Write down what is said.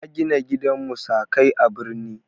Ya gina gidan musakai a birni.